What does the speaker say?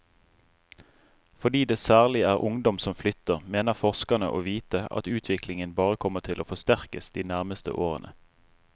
Fordi det særlig er ungdom som flytter, mener forskerne å vite at utviklingen bare kommer til å forsterkes de nærmeste årene.